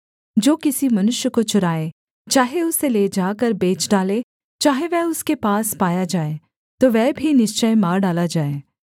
जो किसी मनुष्य को चुराए चाहे उसे ले जाकर बेच डाले चाहे वह उसके पास पाया जाए तो वह भी निश्चय मार डाला जाए